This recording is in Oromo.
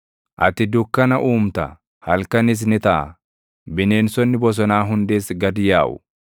Ati dukkana uumta; halkanis ni taʼa; bineensonni bosonaa hundis gad yaaʼu.